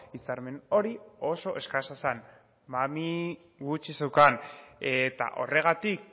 hitzarmen hori oso eskasa zen mami gutxi zeukan eta horregatik